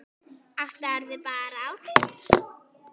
Áttaðu þig bara á því.